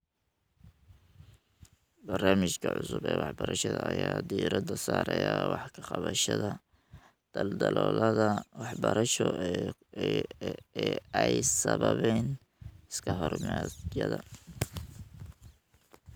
Barnaamijyada cusub eewaxbarashada ayaa diiradda saaraya wax ka qabashada daldaloolada waxbarasho ee ay sababeen iskahorimaadyada.